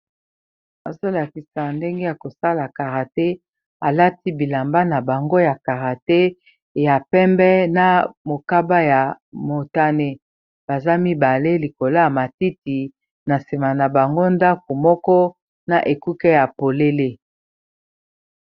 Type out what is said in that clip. azolakisa ndenge ya kosala karate alati bilamba na bango ya karate ya pembe na mokaba ya motane baza mibale likolo ya matiti na nsima na bango ndako moko na ekuke ya polele